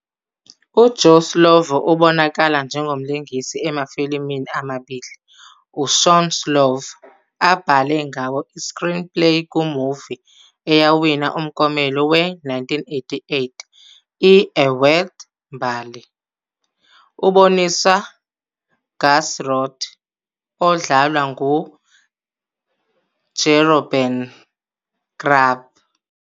UJoe Slovo ubonakala njengomlingisi emafilimini amabili uShawn Slovo abhale ngawo i-screenplay. Ku-movie eyawina umklomelo we-1988 i- "A World Mbali", uboniswa "Gus Roth", odlalwa nguJeroben Krabbé.